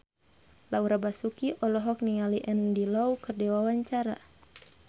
Laura Basuki olohok ningali Andy Lau keur diwawancara